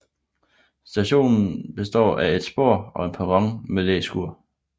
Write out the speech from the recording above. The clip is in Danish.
Stationen består af et spor og en perron med læskur